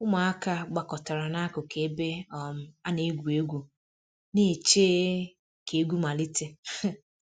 Ụmụaka gbakọtara n'akụkụ ebe um a na-egwu egwu, na-eche um ka egwu malite um